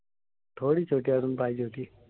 थोडी छोटी अजून पाहिजे होती.